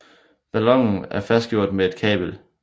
Ballonen er fastgjort med et kabel